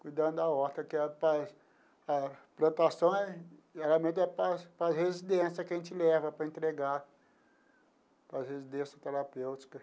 cuidando da horta, que é para a plantação é geralmente é para para a residência que a gente leva para entregar, para a residência terapêutica.